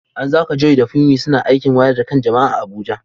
A yanzu haka Joy da Funmi suna aikin wayar da kan jama’a a Abuja.